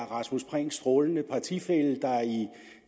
rasmus prehns strålende partifælle der i